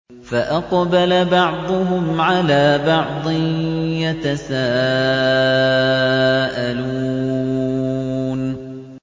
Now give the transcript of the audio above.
فَأَقْبَلَ بَعْضُهُمْ عَلَىٰ بَعْضٍ يَتَسَاءَلُونَ